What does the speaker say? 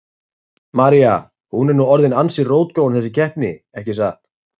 María: Hún er nú orðin ansi rótgróin þessi keppni, ekki satt?